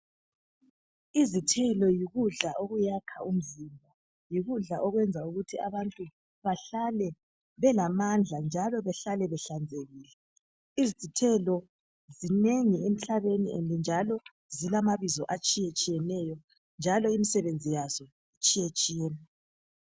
Izithelo yikudla okuyakha umzimba, yikudla okwenza ukuthi abantu behlale belamandla njalo bahlale behlanzekile. Izithelo zinengi emhlabeni njalo zilamabizo atshiyetshiyeneyo njalo imisebenzi yazo itshiyetshiyene.